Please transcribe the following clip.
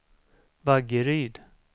Vaggeryd